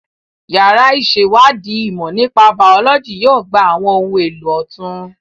Yàrá ìṣèwádìí ìmọ̀ nípa Bàọ́lọ́jì yóò gba àwọn ohun èlò ọ̀tun